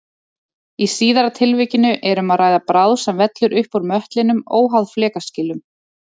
Í síðara tilvikinu er um að ræða bráð sem vellur upp úr möttlinum óháð flekaskilum.